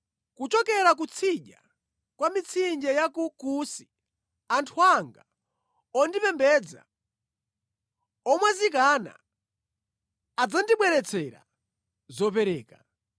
Kuchokera kutsidya kwa mitsinje ya ku Kusi anthu anga ondipembedza, omwazikana, adzandibweretsera zopereka.